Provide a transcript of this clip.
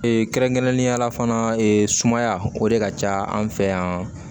kɛrɛnkɛrɛnnenya la fana sumaya o de ka ca an fɛ yan